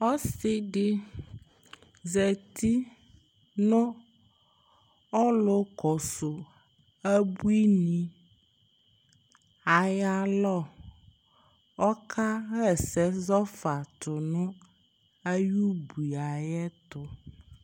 ɔse di zati no ɔlo kɔso abuini ayi alɔ ɔka ɣa ɛsɛ zɔ fa to no ayi ubuie ayɛto